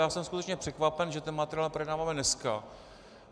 Já jsem skutečně překvapen, že ten materiál projednáváme dneska.